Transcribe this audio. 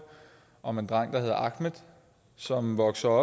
om en dreng der hedder ahmed som vokser